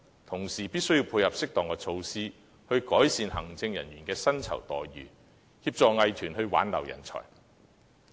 同時，政府亦必須訂定措施，改善藝術行政人員的薪酬待遇，以協助藝團挽留人才。